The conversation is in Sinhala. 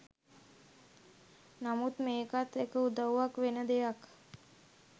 නමුත් මේකත් එක උදවුවක් වෙන දෙයක්.